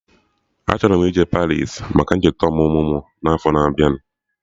Achọrọ m ije Paris maka ncheta ọmụmụ mụ n'afọ na abịa